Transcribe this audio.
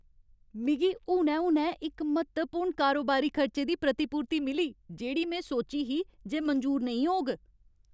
मिगी हुनै हुनै इक म्हत्तवपूर्ण कारोबारी खर्चे दी प्रतिपूर्ति मिली जेह्ड़ी में सोची ही जे मंजूर नेईं होग।